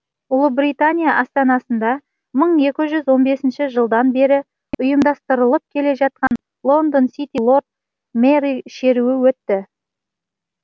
ұлыбритания астанасында мың екі жүз он бесінші жылдан бері ұйымдастырылып келе жатқан лондон сити лорд мэрі шеруі өтті